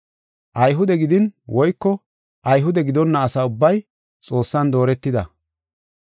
Ayhude gidin, woyko Ayhude gidonna asa ubbay Xoossan dooretida.